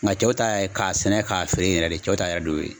Nga cɛw ta ye k'a sɛnɛ k'a feere yɛrɛ de cɛw ta yɛrɛ de y'o ye.